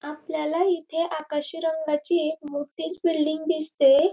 आपल्याला इथे आकाशी रंगाची एक मोठीच बिल्डिंग दिसती ये.